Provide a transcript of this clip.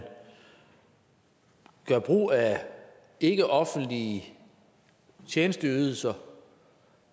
gør brug af ikkeoffentlige tjenesteydelser